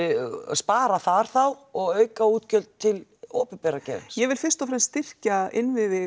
spara þar þá og auka útgjöld til opinbera geirans ég vil fyrst og fremst styrkja innviði